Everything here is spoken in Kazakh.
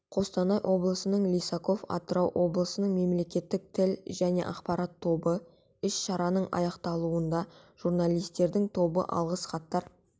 қостанай облысының лисаков атырау облысының мемлекеттік тіл және ақпарат тобы іс-шараның аяқталуында журналистердің тобы алғыс хаттар